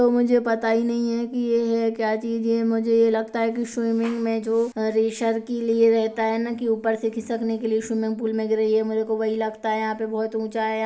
वो मुझे पता ही नहीं है की ये है क्या चीज़ ये मुझे लगता है की स्विमिंग में जो रेसर के लिए रेहता है न की ऊपर से खिसकने के लिए स्विमिंग पूल में गिरे ये मेरे को वही लगता है यहाँ पे बहुत ऊँचा है।